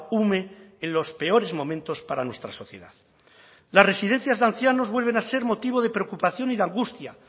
ume en los peores momentos para nuestra sociedad las residencias de ancianos vuelven a ser motivo de preocupación y de angustia